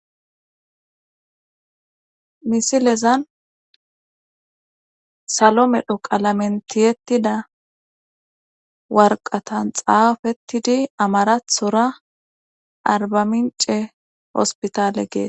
misilezan salo medho qalamen tiyettida warqatan xaafettidi amarathora arba mince hospitale gees